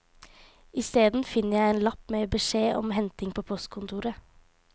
Isteden finner jeg en lapp med beskjed om henting på postkontoret.